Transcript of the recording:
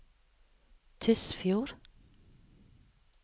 Tysfjord